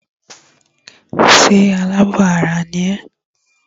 Ṣé alábọ̀ ara ni ẹ́?